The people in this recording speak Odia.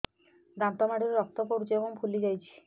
ଦାନ୍ତ ମାଢ଼ିରୁ ରକ୍ତ ପଡୁଛୁ ଏବଂ ଫୁଲି ଯାଇଛି